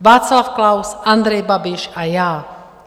Václav Klaus, Andrej Babiš a já.